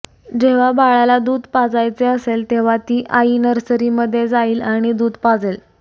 जेव्हा बाळाला दूध पाजायचे असेल तेव्हा ती आई नर्सरीमध्ये जाईल आणि दूध पाजेल